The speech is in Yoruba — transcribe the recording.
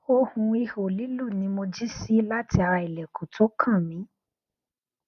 ohun iho lilu ni mo ji si lati ara ilẹkun to kan mi